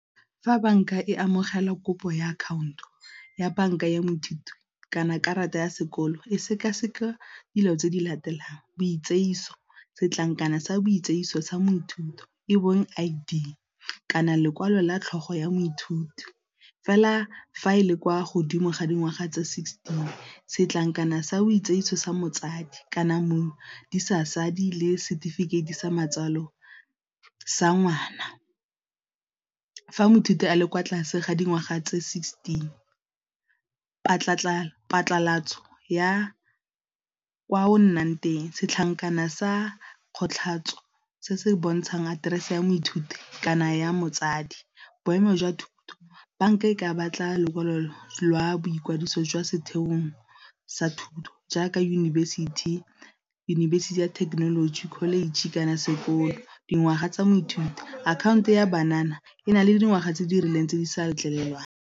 Fa banka e amogela kopo ya akhaonto ya banka ya moithuti kana karata ya sekolo e seka-seka dilo tse di latelang , setlankana sa sa moithuti e bong I_D kana lekwalo la tlhogo ya moithuti, fela fa e le kwa godimo ga dingwaga tsa sixteen setlankana sa o sa motsadi kana le setefikeiti sa matswalo sa ngwana. Fa moithuti a le kwa tlase ga dingwaga tse sixteen phatlalatso ya kwa o nnang teng, setlankana sa kgothatso se se bontshang aterese ya moithuti kana ya motsadi, boemo jwa thuto banka e ka batla lokwalo lwa boikwadiso jwa setheong sa thuto jaaka yunibesithi, yunibesithi ya thekenoloji, college kana sekolo, dingwaga tsa moithuti akhaonto ya e na le dingwaga tse di rileng tse di sa letlelelwang.